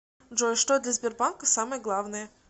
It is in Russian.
джой что для сбербанка самое главное